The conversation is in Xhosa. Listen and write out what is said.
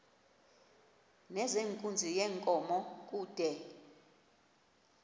nezenkunzi yenkomo kude